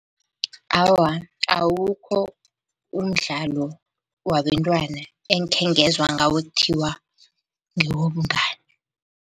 Awa, awukho umdlalo wabentwana engikhengezwa ngawo ekuthiwa ngewobungani.